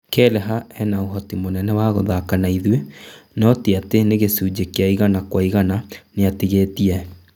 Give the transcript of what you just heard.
Kelleher ena ũhoti mũnene wa gũthaka naithuĩ no tiatĩ nĩ gĩcunjĩ kĩa igana kwa igana, nĩatigĩtie